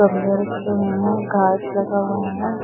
गमले रखे हुए है घास लगा हुआ है।